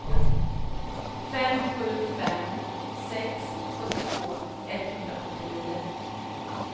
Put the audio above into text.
fem sju fem sex sjuttiotvå etthundrasjuttionio